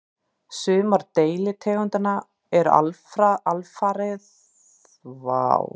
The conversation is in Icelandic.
Sumar deilitegundanna eru alfriðaðar og veiðar á þeim eru algjörlega bannaðar.